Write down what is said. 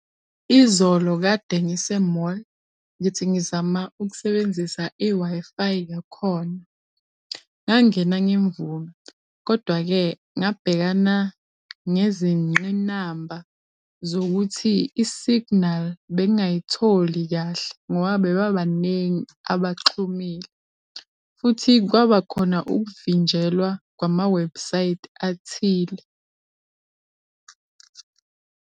Izolo kade ngise-mall ngithi ngizama ukusebenzisa i-Wi-Fi yakhona, ngangena ngemvume kodwa-ke ngabhekana ngezingqinamba zokuthi i-signal bengingayitholi kahle ngoba bebabaningi abaxhumile futhi kwabakhona ukuvinjelwa kwama-website athile.